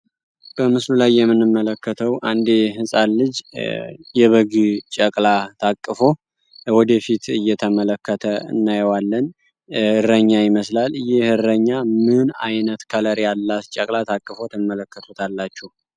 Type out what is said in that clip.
በምስሉ ላይ የምንመለከተው አንድ ህፃን ልጅ የበግ ጨቅላ ታቀፎ ወደፊት እየተመለከተ እናየዋለን እረኛ ይመስላል ይህ እረኛ ምን አይነት ቀለም ያላት ጨቅላ ታቅፎ ትመለከታላችሁ?